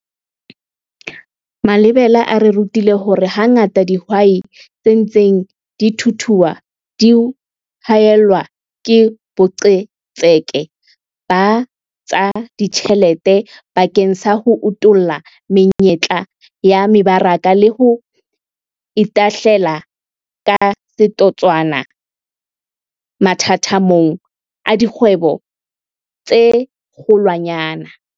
Malebela a re rutile hore hangata dihwai tse ntseng di thuthua di haellwa ke boqhetseke ba tsa ditjhelete bakeng sa ho utolla menyetla ya mebaraka le ho itahlela ka setotswana mathathamong a dikgwebo tse kgolwanyane.